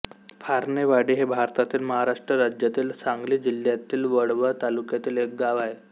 फारणेवाडी हे भारतातील महाराष्ट्र राज्यातील सांगली जिल्ह्यातील वाळवा तालुक्यातील एक गाव आहे